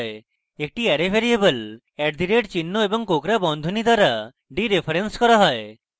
একটি array variable @চিহ্ন এবং কোঁকড়া বন্ধনী দ্বারা ডিরেফারেন্স করা হয়